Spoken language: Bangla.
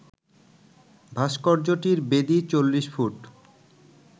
ভাস্কর্যটির বেদী ৪০ ফুট